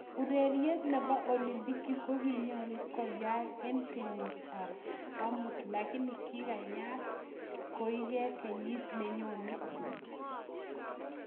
urerit nebo olimpiki ko kinyalun koyak eng kenyit ab ab amut lakini kikiai koeke kenyit nenyone